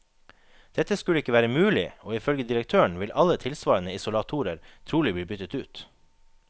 Dette skulle ikke være mulig, og ifølge direktøren vil alle tilsvarende isolatorer trolig bli byttet ut.